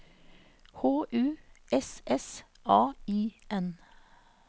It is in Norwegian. H U S S A I N